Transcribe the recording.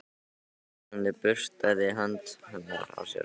Hann burstaði hönd hennar af sér.